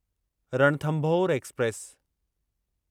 Ranthambore express